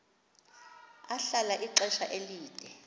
ahlala ixesha elide